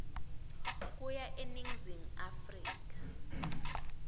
kuya eningizimu afrika